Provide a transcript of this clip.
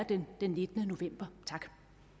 den nittende november tak